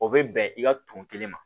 O bɛ bɛn i ka tɔn kelen ma